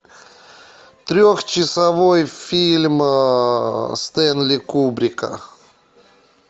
трехчасовой фильм стэнли кубрика